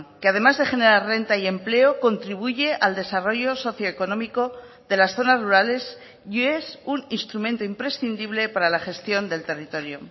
que además de generar renta y empleo contribuye al desarrollo socioeconómico de las zonas rurales y es un instrumento imprescindible para la gestión del territorio